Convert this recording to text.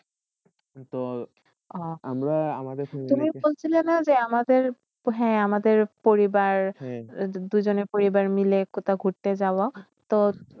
তো আমরা আমাদের সঙ্গে বলশীল না আমাদের হয়ে আমাদের পরিবার দুজনে পরিবার মিলে কথা করতে যাব তো